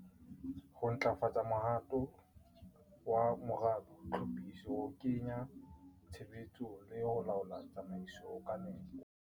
Ho ntlafatsa mohato wa moralo, tlhophiso, ho kenya tshebetsong le ho laola tsamaiso ka nepo.